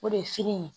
O de ye fini ye